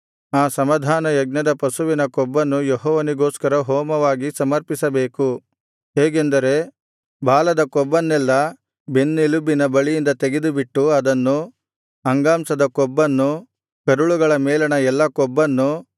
ಆ ಸಮಾಧಾನಯಜ್ಞದ ಪಶುವಿನ ಕೊಬ್ಬನ್ನು ಯೆಹೋವನಿಗೋಸ್ಕರ ಹೋಮವಾಗಿ ಸಮರ್ಪಿಸಬೇಕು ಹೇಗೆಂದರೆ ಬಾಲದ ಕೊಬ್ಬನ್ನೆಲ್ಲಾ ಬೆನ್ನೆಲುಬಿನ ಬಳಿಯಿಂದ ತೆಗೆದುಬಿಟ್ಟು ಅದನ್ನು ಅಂಗಾಂಶದ ಕೊಬ್ಬನ್ನು ಕರುಳುಗಳ ಮೇಲಣ ಎಲ್ಲಾ ಕೊಬ್ಬನ್ನು